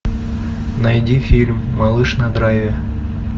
найди фильм малыш на драйве